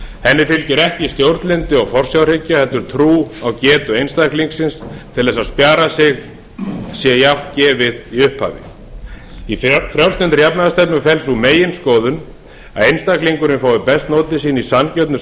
henni fylgir ekki stjórnlyndi og forsjárhyggja heldur trú á getu einstaklingsins til þess að spjara sig sé jafnt gefið í upphafi í frjálslyndri jafnaðarstefnu felst sú meginskoðun að einstaklingurinn fái best notið sín í sanngjörnu